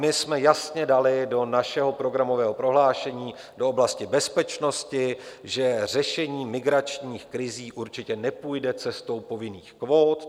My jsme jasně dali do našeho programového prohlášení, do oblasti bezpečnosti, že řešení migračních krizí určitě nepůjde cestou povinných kvót.